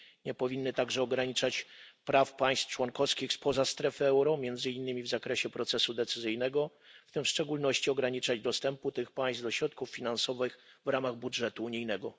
Nie powinny także ograniczać praw państw członkowskich spoza strefy euro, między innymi w zakresie procesu decyzyjnego, w tym w szczególności ograniczać dostępu tych państw do środków finansowych w ramach budżetu unijnego.